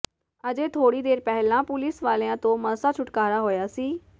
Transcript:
ਅਜੇ ਥੋੜ੍ਹੀ ਦੇਰ ਪਹਿਲਾਂ ਪੁਲੀਸ ਵਾਲਿਆਂ ਤੋਂ ਮਸਾਂ ਛੁਟਕਾਰਾ ਹੋਇਆ ਸੀ